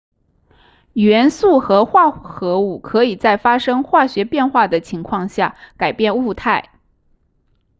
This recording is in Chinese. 元素和化合物可以在发生化学变化的情况下改变物态